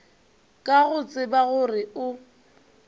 ka go tseba gore o